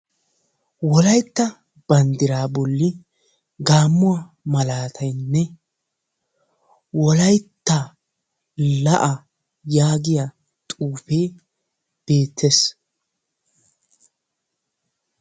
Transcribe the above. Wolaytta banddiraa bolli gaammuwa malaataynne wolaytta la'aa Yaagiya xuufee beettees.